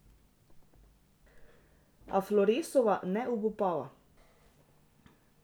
A Floresova ne obupava.